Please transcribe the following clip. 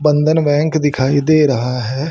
बंधन बैंक दिखाई दे रहा है।